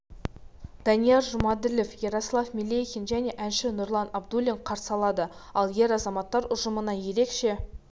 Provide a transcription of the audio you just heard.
данияр жұмаділов ярослав мелехин мен әнші нұрлан абдуллин қарсы алады ал ер азаматтар ұжымына ерекше